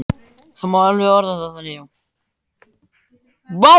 Það má alveg orða það þannig, já.